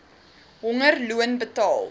honger loon betaal